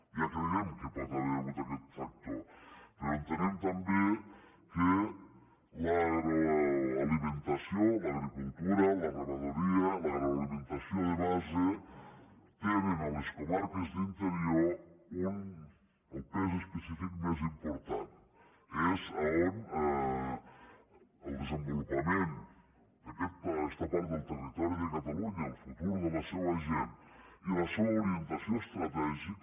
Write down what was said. ja creiem que hi pot haver hagut aquest factor però entenem també que l’agroalimentació l’agricultura la ramaderia l’agroalimentació de base tenen a les comarques d’interior el pes específic més important és on el desenvolupament d’aquesta part del territori de catalunya el futur de la seva gent i la seva orientació estratègica